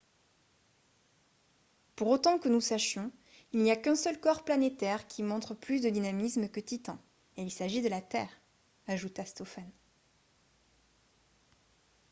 pour autant que nous sachions il n’y a qu’un seul corps planétaire qui montre plus de dynamisme que titan et il s’agit de la terre » ajouta stofan